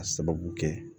A sababu kɛ